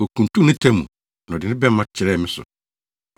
Okuntun ne ta mu na ɔde ne bɛmma kyerɛɛ me so.